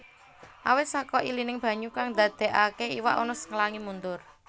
Awit saka ilining banyu kang ndadékaké iwak nus nglangi mundur